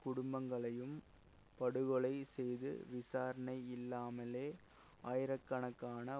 குடும்பங்களையும் படுகொலை செய்து விசாரணை இல்லாமலே ஆயிரக்கணக்கான